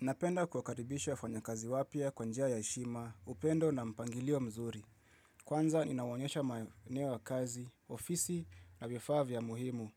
Napenda kuwakaribishwa wafanyakazi wapya kwa njia ya heshima, upendo na mpangilio mzuri. Kwanza ninawaonyesha maeneo ya kazi, ofisi na vifaa vya muhimu,